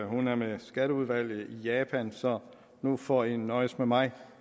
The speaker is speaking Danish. hun er med skatteudvalget i japan så nu får i nøjes med mig